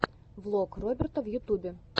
влог роберта в ютубе